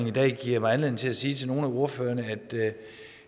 i dag giver mig anledning til at sige til nogle af ordførerne at